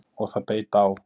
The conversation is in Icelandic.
Og það beit á!